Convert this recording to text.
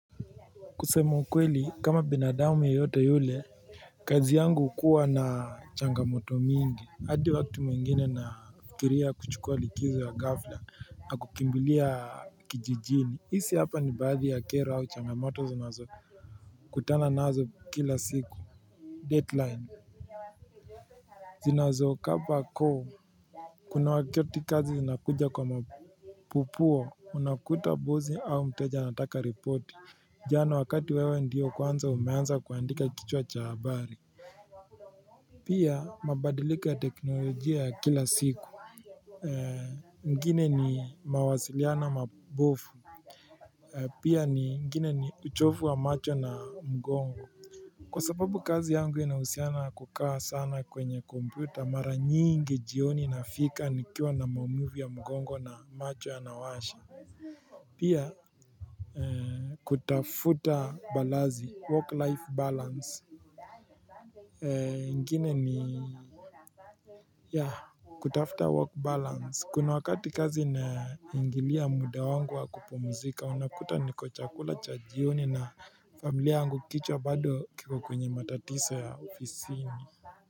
Kusema kweli kama binadamu yoyote yule kazi yangu hukua na changamoto mingi hadi wakati mwingine nafikiria kuchukua likizo ya ghafla na kukimbilia kijijini hisi hapa ni baadhi ya kera au changamoto zinazo kutana nazo kila siku deadline zinazo kapa koo kuna wakati kazi zinakuja kwa mapupuo Unakuta buzi au mteja a ataka report Jano wakati wewe ndio kwanza umeanza kuandika kichwa cha habari Pia mabadiliko ya teknolojia ya kila siku mwingine ni mawasiliana mabofu Pia ni mgine ni uchofu wa macho na mgongo Kwa sababu kazi yangu inahusiana kukaa sana kwenye kompyuta maranyingi jioni nafika nikiwa na maumivu ya mgongo na macho yana washa Pia kutafuta balazi work life balance ingine ni ya kutafuta work balance kuna wakati kazi naingilia muda wangu wa kupmzika unakuta niko chakula cha jioni na familia angu kichwa bado kiko kwenye matatiso ya ofisini.